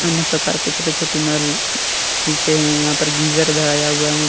अन्य प्रकार के छोटे छोटे नल मिलते है यहां पे गीज़र ।